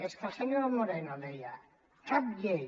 és que el senyor moreno deia cap llei